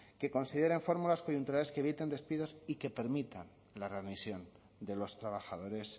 que consideren fórmulas coyunturales que eviten despidos y que permitan la readmisión de los trabajadores